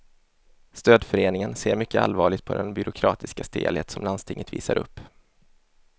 Stödföreningen ser mycket allvarligt på den byråkratiska stelhet som landstinget visar upp.